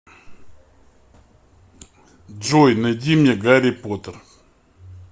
джой найди мне гарри поттер